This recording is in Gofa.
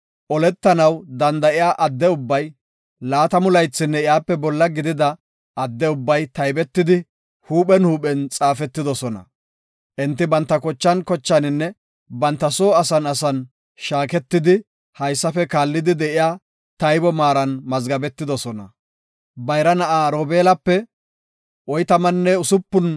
Oletanaw danda7iya adde ubbay, laatamu laythinne iyape bolla gidida adde ubbay taybetidi huuphen huuphen xaafetidosona. Enti banta kochan kochaaninne banta soo asan shaaketidi haysafe kaallidi de7iya taybo maaran mazgabetidosona. Bayra na7aa Robeelape 46,500